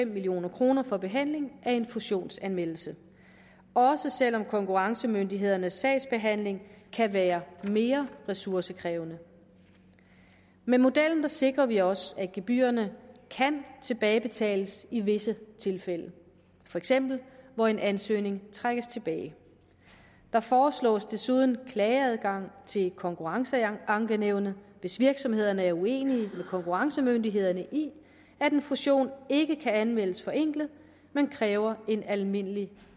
million kroner for behandling af en fusionsanmeldelse også selv om konkurrencemyndighedernes sagsbehandling kan være mere ressourcekrævende med modellen sikrer vi os at gebyrerne kan tilbagebetales i visse tilfælde for eksempel hvor en ansøgning trækkes tilbage der foreslås desuden klageadgang til konkurrenceankenævnet hvis virksomhederne er uenige med konkurrencemyndighederne i at en fusion ikke kan anmeldes forenklet men kræver en almindelig